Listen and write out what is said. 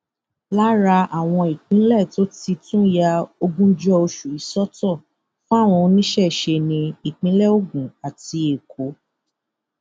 lára àwọn ìpínlẹ tó ti tún ya ogúnjọ oṣù yìí sọtọ fáwọn oníṣẹṣe ní ìpínlẹ ogun àti èkó